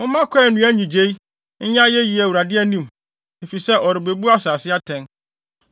Momma kwae nnua nnyigyei nyɛ ayeyi Awurade anim! Efisɛ ɔrebebu asase atɛn.